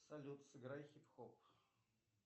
салют сыграй хип хоп